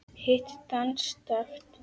Hitt danskt.